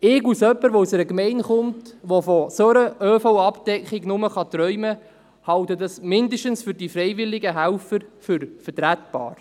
Ich als jemand, der aus einer Gemeinde kommt, die von einer solchen ÖV-Abdeckung nur träumen kann, halte das, mindestens für die freiwilligen Helfer, für vertretbar.